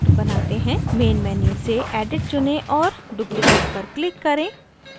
main menu से edit चुनें और duplicate पर click करें